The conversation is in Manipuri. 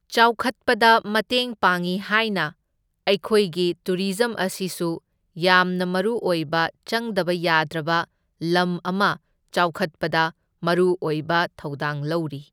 ꯆꯥꯎꯈꯠꯄꯗ ꯃꯇꯦꯡ ꯄꯥꯡꯢ ꯍꯥꯏꯅ ꯑꯩꯈꯣꯏꯒꯤ ꯇꯨꯔꯤꯖꯝ ꯑꯁꯤꯁꯨ ꯌꯥꯝꯅ ꯃꯔꯨ ꯑꯣꯏꯕ ꯆꯪꯗꯕ ꯌꯥꯗ꯭ꯔꯕ ꯂꯝ ꯑꯃ ꯆꯥꯎꯈꯠꯄꯗ ꯃꯔꯨ ꯑꯣꯏꯕ ꯊꯧꯗꯥꯡ ꯂꯧꯔꯤ꯫